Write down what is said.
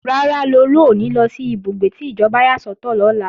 Rárá, Lolú ò ní lọ sí ìbúgbé tí ìjọba yà sọ́tọ̀ lọ́la